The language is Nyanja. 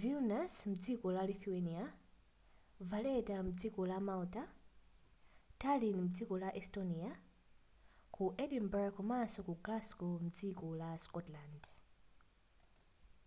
vilnius mdziko la lithuania valetta mdziko la malta tallinn mdziko la estonia ku edinburgh komanso ku glasgow mdziko la scotland